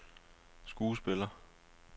skuespiller